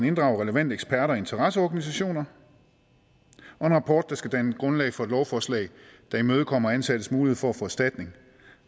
inddrage relevante eksperter og interesseorganisationer og en rapport som skal danne grundlag for et lovforslag der imødekommer ansattes mulighed for at få erstatning